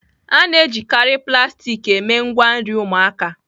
A na-ejikarị plastik eme ngwa nri ụmụaka.